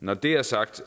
når det er sagt